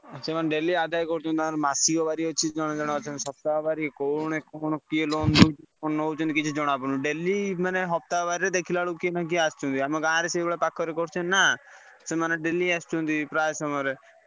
ସେମାନେ daily ଆଦାୟ କରୁଛନ୍ତି ତାଙ୍କର ମାସିକ ବାରି ଅଛି ଜଣେ ଜଣେ ଅଛନ୍ତି ସପ୍ତାହ ବାରି କୋଉ କଣ କିଏ loan ଦଉଛି ନଉଛନ୍ତି କିଛି ଜଣାପଡୁନି loan ମାନେ ସପ୍ତାହ ବାରିରେ ଦେଖିଲା ବେଳକୁ କିଏ ନା କିଏ ଆସିଥିବେ। ଆମ ଗାଁରେ ସେଇଭଳିଆ ପାଖରେ କରିଛନ୍ତି ନା ସେମାନେ daily ଆସୁଛନ୍ତି ପ୍ରାୟ ସମୟରେ।